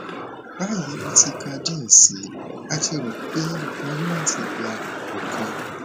bayi mo ti ka diẹ sii ati ro pe mo ni lati gba ọkan